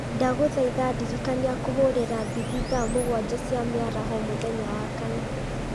ndagũthaitha ndirikania kũhũrĩra mbithi thaa mũgwanja cia mĩaraho mũthenya wa kana